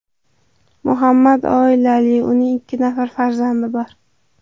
Muhammad oilali, uning ikki nafar farzandi bor.